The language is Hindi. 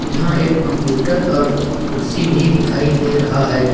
यहां एक कंप्यूटर और कुर्सी भी दिखाई दे रहा है।